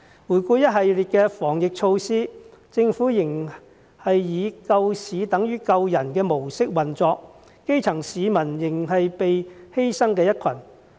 回顧一系列的防疫措施，政府仍是以"救市等於救人"的模式運作，基層市民仍是被犧牲的一群。